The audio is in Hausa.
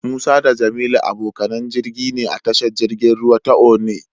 Musa da Jamilu abokanan jirgi ne a tashar jirgin ruwa ta Onne.